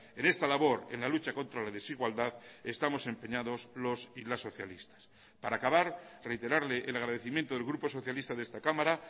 en esta labor en la lucha contra la desigualdad estamos empeñados los y las socialistas para acabar reiterarle el agradecimiento del grupo socialista de esta cámara